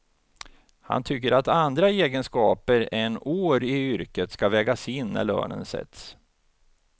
Han tycker att andra egenskaper än år i yrket ska vägas in när lönen sätts.